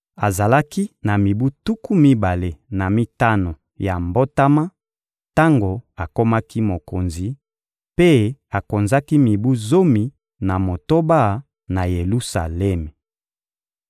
Azalaki na mibu tuku mibale na mitano ya mbotama tango akomaki mokonzi, mpe akonzaki mibu zomi na motoba na Yelusalemi.